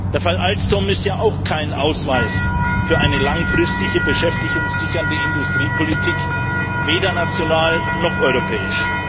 Der Fall Alstom ist ja auch kein Ausweis für eine langfristige beschäftigungssichernde Industriepolitik, weder national noch europäisch.